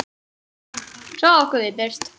Svo ókum við burt.